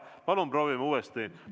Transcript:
Palun proovime uuesti!